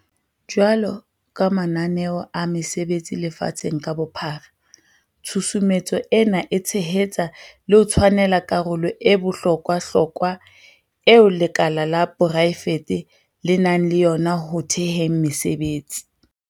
Jwalo ka mananeo a mesebetsi lefatsheng ka bophara, tshusumetso ena e tshehetsa le ho tshwanela karolo e bohlo kwahlokwa eo lekala la porae fete le nang le yona ho theheng mesebetsi.